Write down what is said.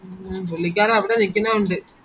പുള്ളിക്കാരൻ അവിടെ നിക്കുന്നകൊണ്ട്